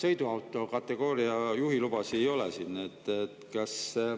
Sõiduauto kategooria juhilubasid siin ei ole.